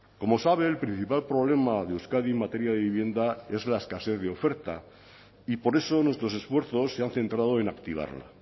como sabe el principal problema de euskadi en materia de vivienda es la escasez de oferta y por eso nuestros esfuerzos se han centrado en activarla